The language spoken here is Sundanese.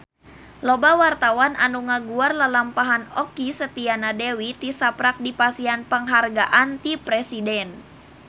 Loba wartawan anu ngaguar lalampahan Okky Setiana Dewi tisaprak dipasihan panghargaan ti Presiden